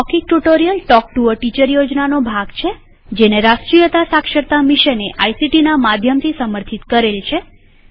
મૌખિક tutorial talk to a teacher યોજનાનો ભાગ છેજેને રાષ્ટ્રીય સાક્ષરતા મિશને આઇસીટી ના માધ્યમથી સમર્થિત કરેલ છે